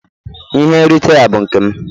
Ihe nrite a bụ nke m.